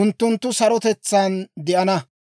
unttunttu sarotetsaan de'ana.